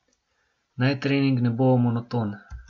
Naj trening ne bo monoton.